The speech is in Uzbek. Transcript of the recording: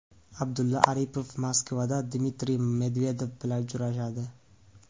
Abdulla Aripov Moskvada Dmitriy Medvedev bilan uchrashadi.